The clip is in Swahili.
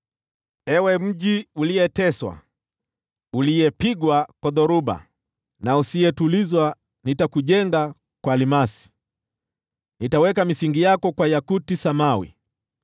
“Ewe mji uliyeteswa, uliyepigwa kwa dhoruba na usiyetulizwa, nitakujenga kwa almasi, nitaweka misingi yako kwa yakuti samawi.